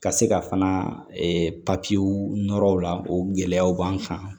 Ka se ka fana nɔrɔ la o gɛlɛyaw b'an kan